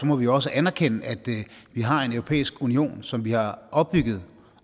må vi også anerkende at vi har en europæisk union som vi har opbygget